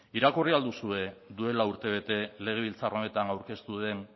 irakurri ahal duzue duela urte bete legebiltzar honetan aurkeztu den